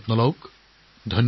আপোনালোকক অশেষ ধন্যবাদ